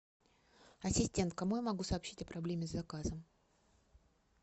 ассистент кому я могу сообщить о проблеме с заказом